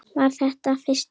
Var þetta fyrsti apríl?